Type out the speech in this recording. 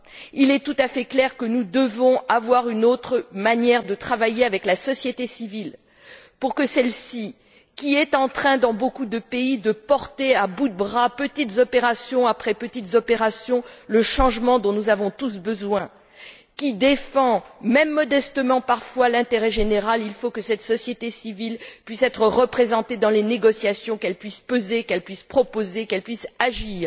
Il est tout à fait clair que nous devons avoir une autre manière de travailler avec la société civile pour que celle ci, qui, dans beaucoup de pays, porte à bout de bras, petites opérations après petites opérations, le changement dont nous avons tous besoin, qui défend même modestement, parfois l'intérêt général, pour que cette société civile puisse être représentée dans les négociations, qu'elle puisse peser, qu'elle puisse proposer, qu'elle puisse agir.